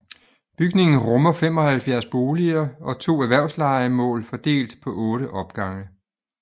Bygningen rummer 75 boliger og to erhvervslejemål fordelt på otte opgange